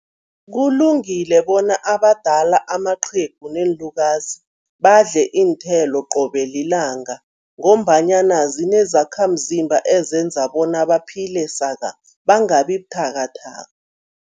Kulungile bona abadala, amaqhegu neenlukazi, badle iinthelo qobe lilanga ngombanyana zinezakhamzimba ezenza bona baphile saka, bangabi buthakathaka.